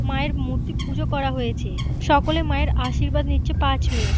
মায়ের মূর্তি পুজো করা হয়েছে। সকলে মায়ের আশীর্বাদ নিচ্ছে পা ছুঁয়ে।